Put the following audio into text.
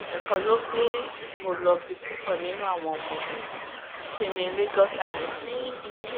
ẹ̀kọ́ ló gbé èkó lọ bí púpọ̀ nínú àwọn ọmọ ẹ̀ sí ní lagos island yìí